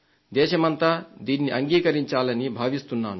దేశమంతా దీన్ని అంగీకరించాలని భావిస్తున్నాను